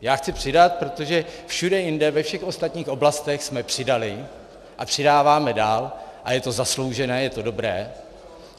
Já chci přidat, protože všude jinde, ve všech ostatních oblastech, jsme přidali a přidáváme dál a je to zasloužené, je to dobré.